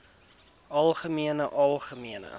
algemeen algemeen